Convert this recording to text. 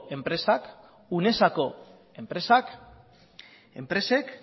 enpresak unesako enpresek